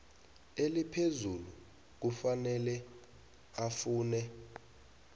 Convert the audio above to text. eliphezulu kufanele afune